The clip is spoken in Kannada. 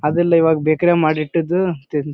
ಅದೆಲ್ಲ ಈವಾಗ ಬೇಕರಿ ಯಾಗ ಮಾಡಿ ಇಟ್ಟಿದ್ದ ತಿನ್ತಿ --